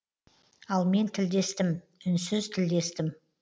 ал мен тілдестім үнсіз тілдестім